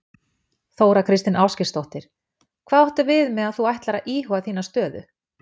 Þóra Kristín Ásgeirsdóttir: Hvað áttu við með að þú ætlir að íhuga þína stöðu?